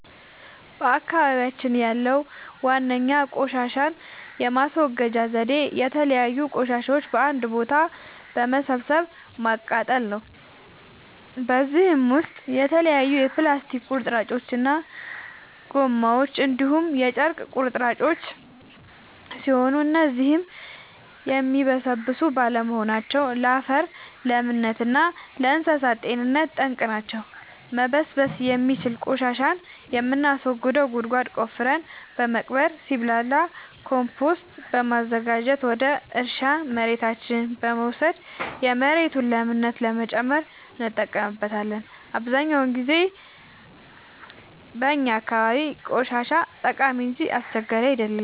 በአካባቢያችን ያለዉ ዋነኛ ቆሻሻን የማስወገጃ ዘዴ የተለያዩ ቆሻሻዎችን በአንድ ቦታ በመሰብሰብ ማቃጠል ነው። በዚህም ውስጥ የተለያዩ የፕላስቲክ ቁርጥራጮች እና ጎማዎች እንዲሁም የጨርቅ ቁራጮች ሲሆኑ እነዚህም የሚበሰብሱ ባለመሆናቸው ለአፈር ለምነት እና ለእንሳሳት ጤንነት ጠንቅ ናቸው። መበስበስ የሚችል ቆሻሻን የምናስወግደው ጉድጓድ ቆፍረን በመቅበር ሲብላላ ኮምቶስት በማዘጋጀት ወደ እርሻ መሬታችን በመውሰድ የመሬቱን ለምነት ለመጨመር እንጠቀምበታለን። አብዛኛውን ጊዜ በእኛ አካባቢ ቆሻሻ ጠቃሚ እንጂ አስቸጋሪ አይደለም።